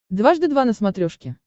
дважды два на смотрешке